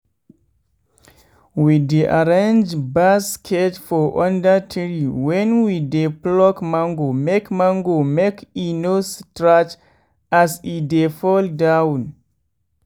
we dey arrange basket for under tree wen we dey pluck mango make mango make e no scratch as e dey fall down.